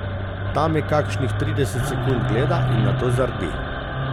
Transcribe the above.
Ta me kakšnih trideset sekund gleda in nato zardi.